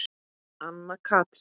Anna Katrín.